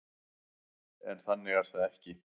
En þannig er það ekki.